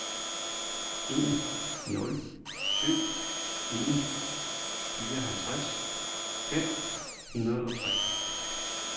en nul syv en fireoghalvtreds fem hundrede og tre